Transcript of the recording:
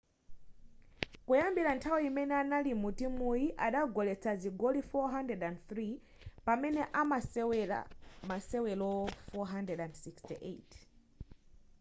kuyambira nthawi imene anali mu timuyi adagoletsa zigoli 403 pamene anasewera masewero 468